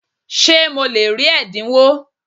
Ṣé mo lè rí ẹ̀dínwó?